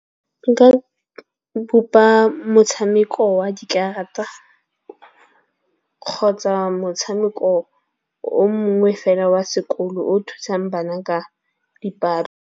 Nka bopa motshameko wa dikarata kgotsa motshameko o mongwe fela wa sekolo o thusang bana ka dipalo.